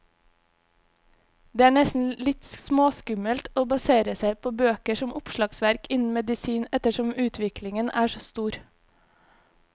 Det er nesten litt småskummelt å basere seg på bøker som oppslagsverk innen medisin, ettersom utviklingen er så stor.